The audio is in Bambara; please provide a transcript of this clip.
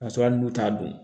K'a sɔrɔ hali n'u t'a dun